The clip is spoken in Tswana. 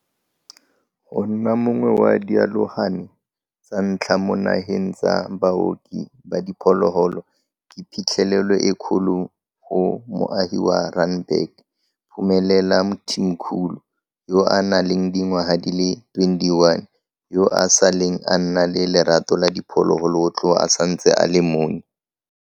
Go nna mongwe wa dialogane tsa ntlha mo nageng tsa baoki ba diphologolo ke phitlhelelo e kgolo go moagi wa Randburg, Phumelela Mthimkhulu, yo a nang le dingwaga di le 21, yo a saleng a nna le lerato la diphologolo go tloga a santse a le monnye.